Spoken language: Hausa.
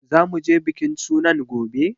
Za mu je bikin sunan gobe?